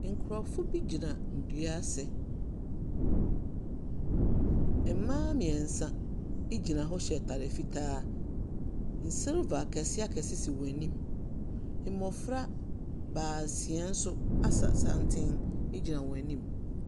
Nkurɔfo bi gyina ndua ase. Mbaa mmeɛnsa gyina hɔ hyɛ atar fitaa. Nsilver akɛse akɛse si hɔn enyim. Mmɔfra baasia nso asa santen gyina hɔn enyim.